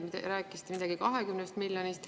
Siis te rääkisite veel midagi 20 miljonist.